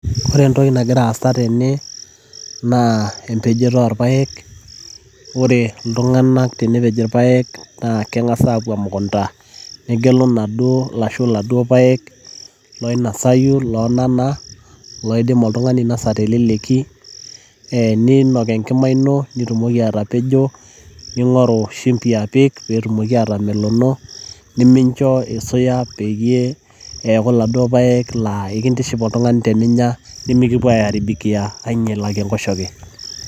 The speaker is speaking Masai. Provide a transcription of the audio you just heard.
Ore entoki nagira aasa tene, naa empejoto orpaek. Ore iltung'anak tenepej irpaek, naa keng'asi apuo emukunda, negelu laduo ashu naduo paek oinasayu lonana, loidim oltung'ani ainasa teleleki, eh ninok enkima ino, nitumoki atapejo. Ning'oru shumbi apik petumoki atamelono, minincho isuya peyie eeku laduo paek laa enkindiship oltung'ani teninya, mikipuo aiaribikia ainyala tenkoshoke.